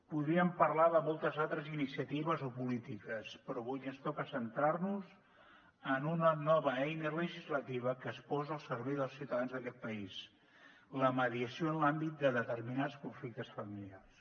podríem parlar de moltes altres iniciatives o polítiques però avui ens toca centrar nos en una nova eina legislativa que es posa al servei dels ciutadans d’aquest país la mediació en l’àmbit de determinats conflictes familiars